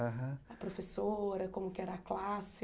Aham a professora, como que era a classe?